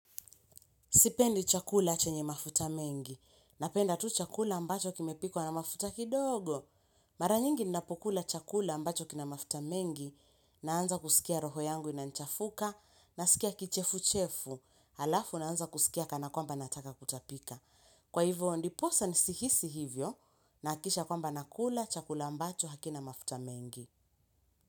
Sipendi chakula chenye mafuta mengi, napenda tu chakula ambacho kimepikwa na mafuta kidogo. Mara nyingi ninapokula chakula ambacho kina mafuta mengi, naanza kusikia roho yangu inanichafuka, nasikia kichefu-chefu, alafu naanza kusikia kana kwamba nataka kutapika. Kwa hivyo ndiposa ni sihisi hivyo, nahakisha kwamba nakula chakula ambacho hakina mafuta mengi.